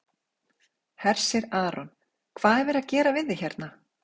Hersir Aron: Hvað er verið að gera við þig hérna?